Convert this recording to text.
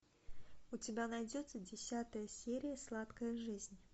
у тебя найдется десятая серия сладкая жизнь